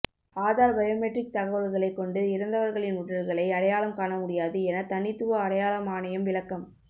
Aadhaar biometric தகவல்களைக் கொண்டு இறந்தவர்களின் உடல்களை அடையாளம் காண முடியாது எனத் தனித்துவ அடையாள ஆணையம் விளக்கம்